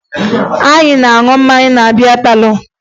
Anyị na-aṅụ mmanya na bịá pálọ̀